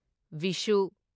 ꯚꯤꯁꯨ